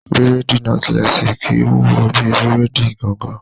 Bírèèdì nọ́tílẹ́ẹ̀sì kìí wúwo bí bírèèdì gangan